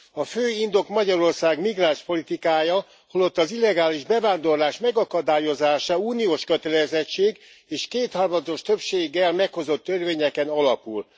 A fő indok Magyarország migránspolitikája holott az illegális bevándorlás megakadályozása uniós kötelezettség, és kétharmados többséggel meghozott törvényeken alapul.